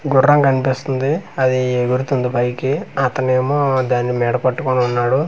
గుర్రం కనిపిస్తుంది అది ఎగురుతుంది పైకి అతను ఏమో దాన్ని మెడ పట్టుకొని ఉన్నాడు ఆ--